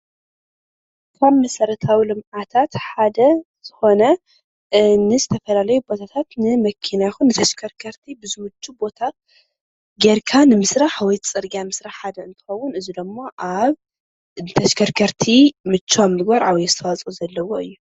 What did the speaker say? ካብ መሰረታዊ ልምዓትት ሓደ ዝኾነ ንዝተፈላለዩ ቦታታት ንመኪና ይኹን ንተሽከርከርቲ ብዝምቹ ቦታ ጌርካ ንምስራሕ ወይ ፅርግያ ምስራሕ ሓደ እንትኸውን፣ እዚ ድማ ኣብ ተሽከርከርቲ ምችው ምግባር ዓብይ ኣስተዋፅኦ ዘለዎ እዩ።